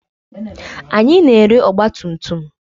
Anyị na-ere ọgba tum tum.